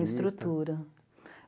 estrutura.